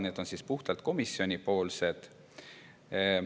Need on puhtalt komisjonipoolsed.